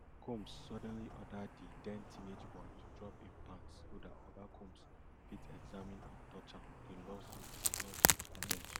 combs suddenly order di den teenage boy to drop im pants so dat oga combs fit examine and touch am di lawsuit lawsuit allege